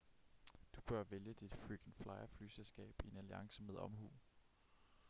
du bør vælge dit frequent flyer-flyselskab i en alliance med omhu